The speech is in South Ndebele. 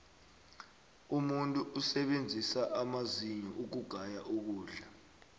umuntu usebenzisa amazinyo ukugaya ukudla